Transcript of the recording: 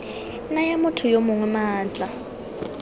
naya motho yo mongwe maatla